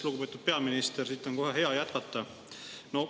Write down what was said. Lugupeetud peaminister, siit on kohe hea jätkata.